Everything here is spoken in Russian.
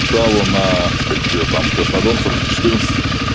шаву наа как же её там краснодонцев четырнадцати